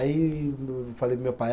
Aí, o eu falei para o meu pai.